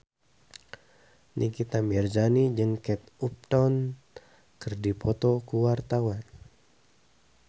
Nikita Mirzani jeung Kate Upton keur dipoto ku wartawan